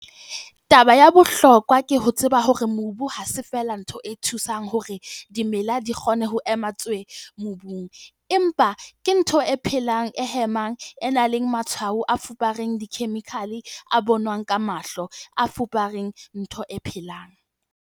Taba ya bohlokwa ke ho tseba hore mobu ha se feela ntho e thusang hore dimela di kgone ho ema tswe! mobung, empa ke ntho e phelang, e hemang, e nang le matshwao a fupereng khemikhale, a bonwang ka mahlo, a fupereng ntho e phelang.